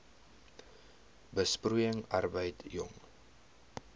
besproeiing arbeid jong